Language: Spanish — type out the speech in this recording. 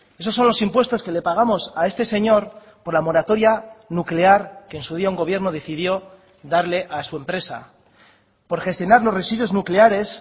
esos son los impuestos que le pagamos a este señor por la moratoria nuclear que en su día un gobierno decidió darle a su empresa por gestionar los residuos nucleares